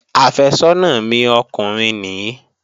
Àfẹ́sọ́nà mi ọkùnrin nìí